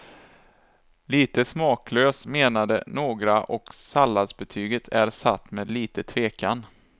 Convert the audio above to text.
Lite smaklös menade några och salladsbetyget är satt med lite tvekan.